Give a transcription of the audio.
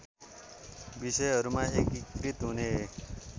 विषयहरूमा एकीकृत हुने